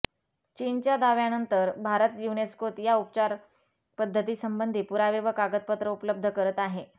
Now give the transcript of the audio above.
चीनच्या दाव्यानंतर भारत युनेस्कोत या उपचार पद्धतीसंबंधी पुरावे व कागदपत्र उपलब्ध करत आहे